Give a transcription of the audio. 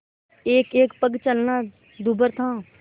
एकएक पग चलना दूभर था